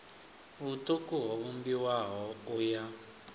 vhuṱuku ho vhumbiwaho u ya